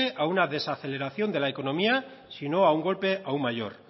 a una desaceleración de la economía si no a un golpe aún mayor